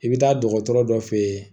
I bɛ taa dɔgɔtɔrɔ dɔ fɛ yen